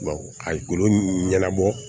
ka golo ɲɛnabɔ